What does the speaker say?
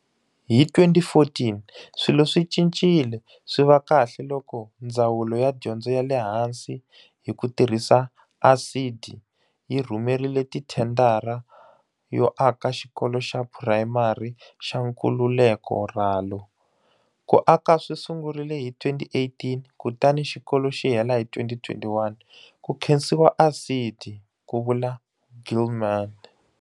Hi 2014, swilo swi cincile swi va kahle loko Ndzawulo ya Dyondzo ya le Hansi, hi ku tirhisa ASIDI, yi rhumerile thendara yo aka Xikolo xa Purayimari xa Nkululeko Ralo Ku aka swi sungurile hi 2018 kutani xikolo xi hela hi 2021, ku khensiwa ASIDI, ku vula Gilman.